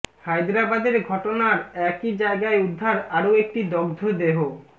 হায়দরাবাদের ঘটনার একই জায়গায় উদ্ধার আরও একটি দগ্ধ দেহ